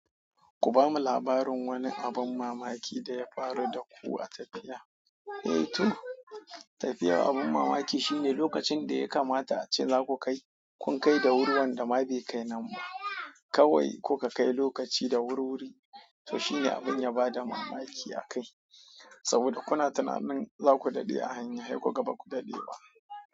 Ku bamu labarin wani abin mamaki da ya faruwa da ku. Tafiya abin mamaki shine lolacin da ya kamata ace za ku kai, ku kai da wuri, wanda ma bai kai nan ba. Kawai in kuka kai lokaci da wurwuri. To shine abin ya bada mamaki a kai. Saboda kuna tunanin za ku dade a hanya sai kuga ba ku dade ba.